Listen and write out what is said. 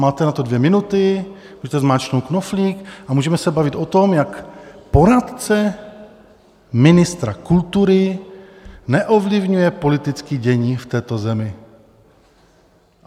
Máte na to dvě minuty, můžete zmáčknout knoflík a můžeme se bavit o tom, jak poradce ministra kultury neovlivňuje politické dění v této zemi.